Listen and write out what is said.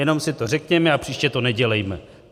Jenom si to řekněme a příště to nedělejme.